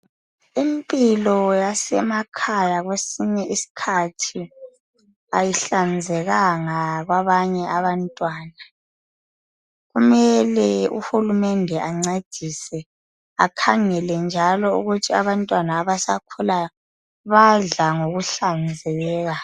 Impilo yasemakhaya kwesinye iskhathi ayihlanzekanga kwabanye abantwana , kumele uhulumende ancedise akhangele njalo ukuthi abantwana abakhulayo badla ngokuhlanzeka